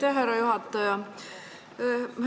Aitäh, härra juhataja!